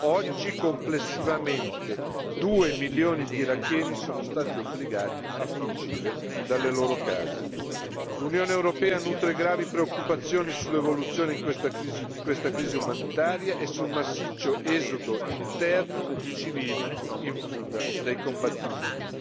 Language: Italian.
Oggi, complessivamente due milioni di iracheni sono stati obbligati a fuggire dalle loro case. L'Unione europea nutre gravi preoccupazioni sull'evoluzione di questa crisi umanitaria e sul massiccio esodo interno di civili in fuga dai combattimenti.